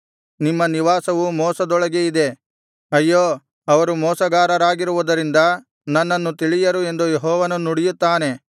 ನಿಮ್ಮ ನಿವಾಸವು ಮೋಸದೊಳಗೆ ಇದೆ ಅಯ್ಯೋ ಅವರು ಮೋಸಗಾರರಾಗಿರುವುದರಿಂದ ನನ್ನನ್ನು ತಿಳಿಯರು ಎಂದು ಯೆಹೋವನು ನುಡಿಯುತ್ತಾನೆ